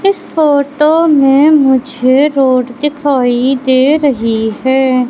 इस फोटो में मुझे रोड दिखाई दे रही है।